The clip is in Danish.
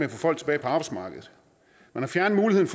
at få folk tilbage på arbejdsmarkedet man har fjernet muligheden